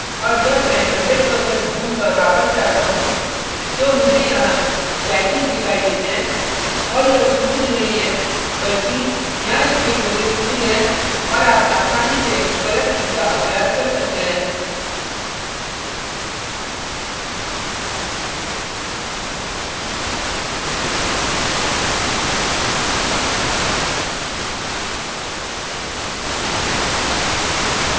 और जब मैं 100% zoom पर वापस जाता हूँ तो मुझे यहाँ jaggies दिखाई देते हैं और यह smooth नहीं है बल्कि यहाँ इसके कोने smooth हैं और आप आसानी से स्वयं इसका अभ्यास कर सकते हैं